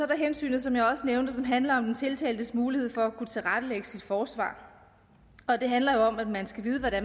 der hensynet som jeg også nævnte som handler om den tiltaltes mulighed for at kunne tilrettelægge sit forsvar og det handler jo om at man skal vide hvad det